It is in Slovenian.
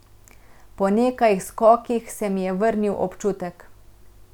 Po nekaj skokih se mi je vrnil občutek.